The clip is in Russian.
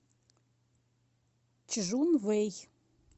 чжунвэй